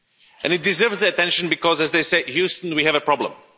And it deserves attention, because as they say Houston, we have a problem'.